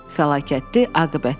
Fəlakətli aqibətlər.